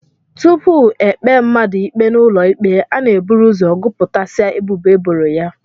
Tupu e kpee mmadụ ikpe n'ụlọikpe, a na-eburu ụzọ gụpụtasịa ebubo e boro ya